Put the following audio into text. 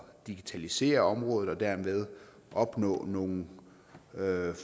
digitalisere området og dermed opnå nogle